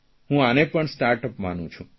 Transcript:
હું આને પણ સ્ટાર્ટઅપ માનું છું